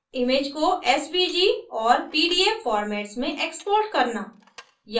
image को svg और pdf formats में export करना